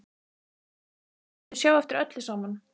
Þau skyldu sjá eftir öllu saman.